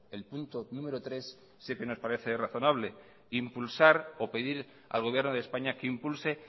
el punto número tres sí que nos parece razonable impulsar o pedir al gobierno de españa que impulse